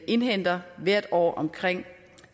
indhenter hvert år omkring